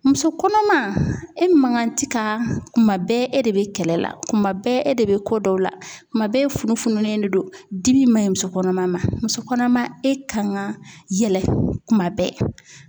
Muso kɔnɔma e man kan ti ka kuma bɛɛ e de be kɛlɛ la, kuma bɛɛ e de be ko dɔ la, kuma bɛɛ e funu fununen de don, dimi maɲi musokɔnɔma ma, musokɔnɔma e ka kan ka yɛlɛ, kuma bɛɛ